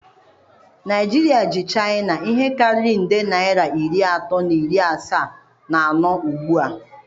Naijiria ji chaịna ihe karịrị nde naịra iri atọ na iri asaa na anọ ugbu a.